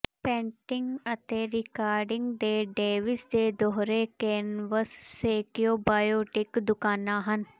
painting ਅਤੇ recording ਦੇ Davis ਦੇ ਦੋਹਰੇ ਕੈਨਵਸ ਸੈਕਿਓਬੋਇਟਿਕ ਦੁਕਾਨਾਂ ਹਨ